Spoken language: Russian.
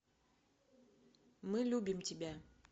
мы любим тебя